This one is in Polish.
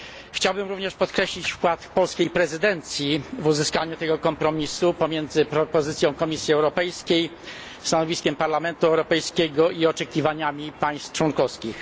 Chciałbym również podkreślić wkład polskiej prezydencji w uzyskanie kompromisu pomiędzy propozycją Komisji Europejskiej, stanowiskiem Parlamentu Europejskiego i oczekiwaniami państw członkowskich.